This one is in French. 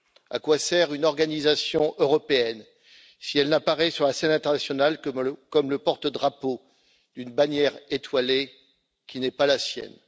À quoi sert une organisation européenne, si elle n'apparaît sur la scène internationale que comme le porte drapeau d'une bannière étoilée qui n'est pas la sienne?